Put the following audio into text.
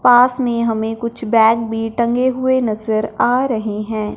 पास में हमें कुछ बैग भी टंगे हुए नजर आ रहे हैं।